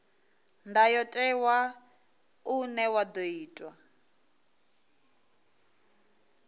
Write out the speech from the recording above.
ndayotewa une wa ḓo itwa